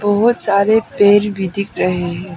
बहुत सारे पेड़ भी दिख रहे हैं।